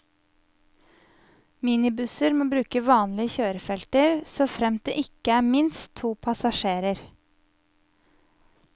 Minibusser må bruke vanlige kjørefelter, såfremt det ikke er minst to passasjerer.